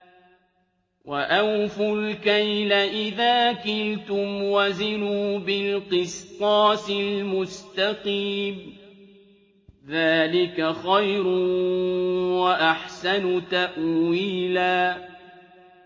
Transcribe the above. وَأَوْفُوا الْكَيْلَ إِذَا كِلْتُمْ وَزِنُوا بِالْقِسْطَاسِ الْمُسْتَقِيمِ ۚ ذَٰلِكَ خَيْرٌ وَأَحْسَنُ تَأْوِيلًا